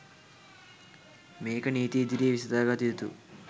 මේක නීතිය ඉදිරියේ විසඳාගත යුතු